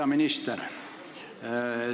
Hea minister!